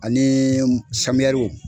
Ani samiyɛriw.